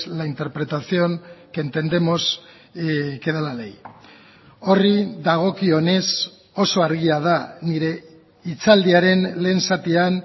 la interpretación que entendemos que da la ley horri dagokionez oso argia da nire hitzaldiaren lehen zatian